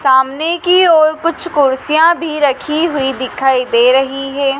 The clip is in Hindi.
सामने की ओर कुछ कुर्सियां भी रखी हुई दिखाई दे रही है।